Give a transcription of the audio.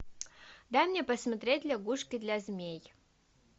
дай мне посмотреть лягушки для змей